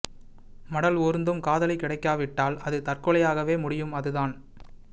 மடல்ஊர்ந்தும் காதலி கிடைக்காவிட்டால் அது தற்கொலையாகவே முடியும் அது தான்